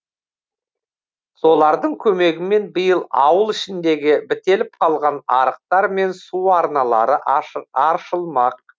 солардың көмегімен биыл ауыл ішіндегі бітеліп қалған арықтар мен су арналары аршылмақ